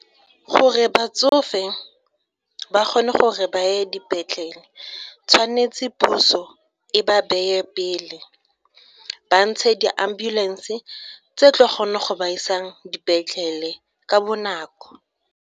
Gore batsofe ba kgone gore ba ye dipetlele, tshwanetse puso e ba beye pele ba ntshe di-ambulance tse tlo kgona go ba isang dipetlele ka bonako.